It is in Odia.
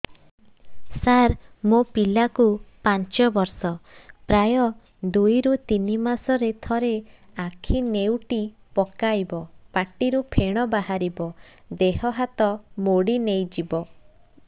ସାର ମୋ ପିଲା କୁ ପାଞ୍ଚ ବର୍ଷ ପ୍ରାୟ ଦୁଇରୁ ତିନି ମାସ ରେ ଥରେ ଆଖି ନେଉଟି ପକାଇବ ପାଟିରୁ ଫେଣ ବାହାରିବ ଦେହ ହାତ ମୋଡି ନେଇଯିବ